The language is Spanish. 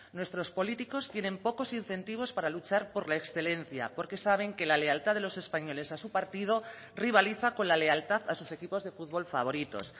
nuestros políticos tienen pocos incentivos para luchar por la excelencia porque saben que la lealtad de los españoles a su partido rivaliza con la lealtad a sus equipos de futbol favoritos